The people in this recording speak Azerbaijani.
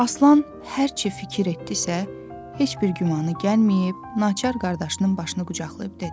Aslan hər cür fikir etdisə, heç bir gümanı gəlməyib naçar qardaşının başını qucaqlayıb dedi.